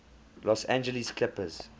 los angeles clippers